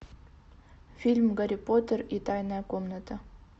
фильм гарри поттер и тайная комната